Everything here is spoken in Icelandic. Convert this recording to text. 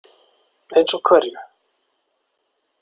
Eins og hverju?